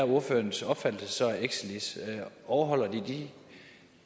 ordførerens opfattelse af exelis overholder de de